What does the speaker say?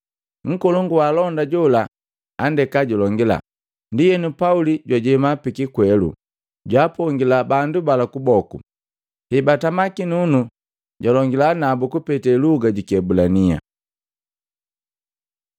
Nkolongu waalonda jola andeka julongila. Ndienu Pauli jwajema pikikwelu, jwaapongila bandu bala kuboku. Hebatama kinunu, jwalongila nabu kupete luga ji Kiebulania.